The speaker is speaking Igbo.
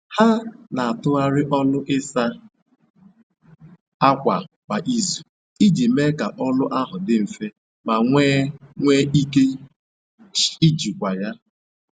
Ha n'atụgharị ọlụ ịsa ákwà kwa izu iji mee ka ọlụ ahụ dị nfe ma nwe nwe ike ijikwa ya.